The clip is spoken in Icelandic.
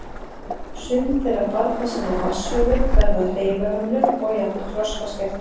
Sum þeirra barna sem fá vatnshöfuð verða hreyfihömluð og jafnvel þroskaskert.